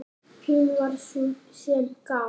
Hún var sú sem gaf.